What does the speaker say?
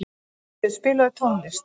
Guðríður, spilaðu tónlist.